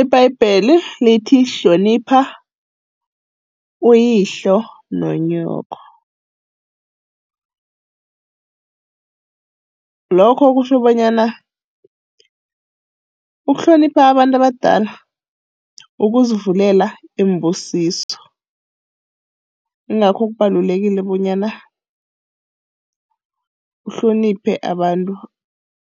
Ibhayibheli lithi, hlonipha uyihlalo nonyoko, lokho kutjho bonyana ukuhlonipha abantu abadala ukuzivulela iimbusiso. Ingakho kubalulekile bonyana uhloniphe abantu